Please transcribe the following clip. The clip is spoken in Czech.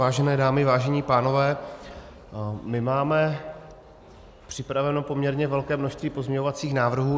Vážené dámy, vážení pánové, my máme připraveno poměrně velké množství pozměňovacích návrhů.